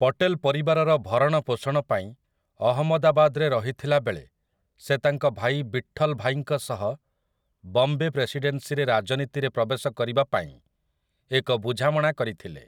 ପଟେଲ ପରିବାରର ଭରଣ ପୋଷଣ ପାଇଁ ଅହମଦାବାଦରେ ରହିଥିଲାବେଳେ ସେ ତାଙ୍କ ଭାଇ ବିଠଲ୍‌ଭାଇଙ୍କ ସହ ବମ୍ବେ ପ୍ରେସିଡେନ୍ସିରେ ରାଜନୀତିରେ ପ୍ରବେଶ କରିବା ପାଇଁ ଏକ ବୁଝାମଣା କରିଥିଲେ ।